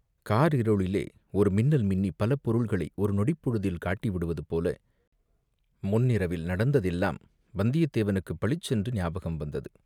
காரிருளிலே ஒரு மின்னல் மின்னிப் பல பொருள்களை ஒருநொடிப் பொழுதில் காட்டிவிடுவது போல முன்னிரவில் நடந்ததெல்லாம் வந்தியத்தேவனுக்குப் பளிச்சென்று ஞாபகம் வந்தது.